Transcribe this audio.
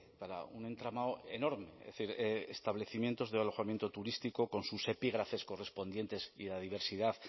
para un entramado enorme es decir establecimientos de alojamiento turístico con sus epígrafes correspondientes y la diversidad